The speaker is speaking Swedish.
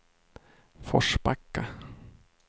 Forsbacka